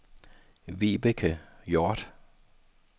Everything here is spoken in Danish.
Vibeke Hjorth